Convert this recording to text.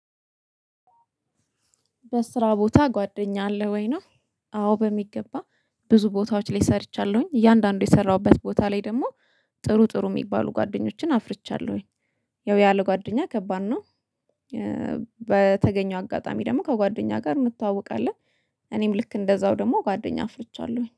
በስራ ቦታ ጓደኛ አለህ ወይ ነው? አዎ በሚገባ። ብዙ ቦታዎች ላይ ሰርቻለሁኝ እያንዳንዱ የሰራሁበት ቦታ ላይ ደግሞ ጥሩ ጥሩ የሚባሉ ጓደኞችን አፍርቻለሁኝ። ያው ያለው ጓደኛ ከባድ ነው። በተገኘው አጋጣሚ ደግሞ ከጓደኛ ጋር እንተዋወቃለን። እኔም ልክ እንደዛው ደግሞ ጓደኛ አፍርቻለሁኝ